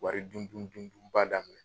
Wari dun dun dun bada